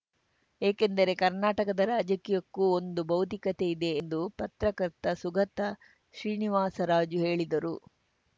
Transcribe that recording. ಏಕೆಂದರೆ ಕರ್ನಾಟಕದ ರಾಜಕೀಯಕ್ಕೂ ಒಂದು ಬೌದ್ಧಿಕತೆಯಿದೆ ಎಂದು ಪತ್ರಕರ್ತ ಸುಗತ ಶ್ರೀನಿವಾಸರಾಜು ಹೇಳಿದರು